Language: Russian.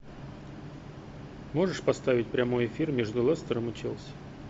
можешь поставить прямой эфир между лестером и челси